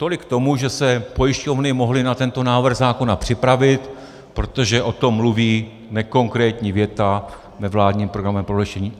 Tolik k tomu, že se pojišťovny mohly na tento návrh zákona připravit, protože o tom mluví nekonkrétní věta ve vládním programovém prohlášení.